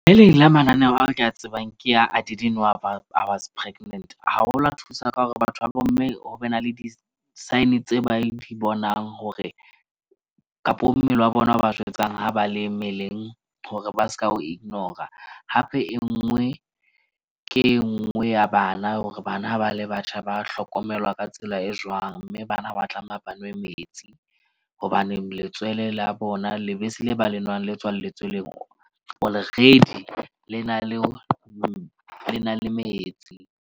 Le leng la mananeo ao ke a tsebang ke ya I didn't know about I was pregnant, haholo a thusa ka hore batho ba bomme ho be na le di-sign tse ba di bonang hore kapo mmele wa bona o ba jwetsang ha ba le mmeleng. Hore ba seka ho ignora hape enngwe ke e nngwe ya bana hore bana ha ba le batjha, ba hlokomelwa ka tsela e jwang. Mme bana ha ba tlameha ba nwe metsi. Hobaneng letswele la bona, lebese le ba le nwang, le tswalletsweng already le na le metsi.